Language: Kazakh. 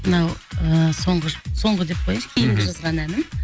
мынау ыыы соңғы соңғы деп кояыншы кейінгі жазған әнім